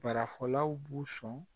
Baarafɔlaw b'u sɔn